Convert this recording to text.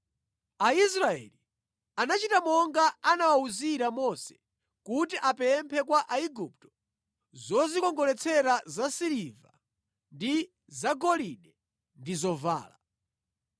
Aisraeli anachita monga anawawuzira Mose kuti apemphe kwa Aigupto zozikongoletsera zasiliva ndi zagolide ndi zovala.